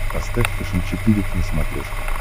поставь фэшен четыре к на смотрешке